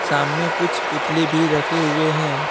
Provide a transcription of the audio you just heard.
सामने कुछ पुतले भी रखे हुए हैं।